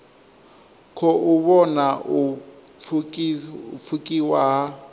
khou vhona u pfukiwa ha